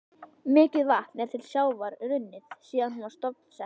Mikið vatn er til sjávar runnið síðan hún var stofnsett.